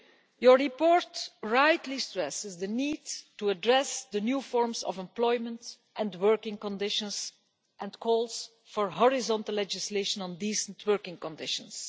Your report rightly stresses the need to address new forms of employment and working conditions and calls for horizontal legislation on decent working conditions.